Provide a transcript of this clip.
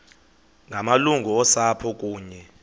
ngamalungu osapho kunye